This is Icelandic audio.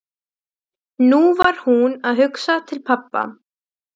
Skíma læðist inn um glugga við enda gangsins.